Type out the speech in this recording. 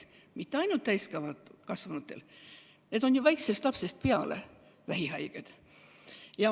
Ja mitte ainult täiskasvanutel, vaid ka lastel, kes on vähihaiged.